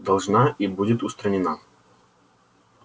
должна и будет устранена